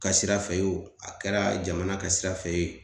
Ka sira fɛ o a kɛra jamana ka sira fɛ ye